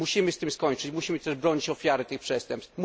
Musimy z tym skończyć, musimy też bronić ofiar tych przestępstw.